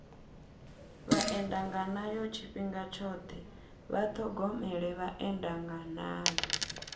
vhaendanganayo tshifhinga tshoṱhe vha ṱhogomele vhaendanganayo